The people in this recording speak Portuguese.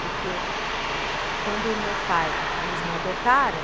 Porque quando o meu pai, eles me adotaram,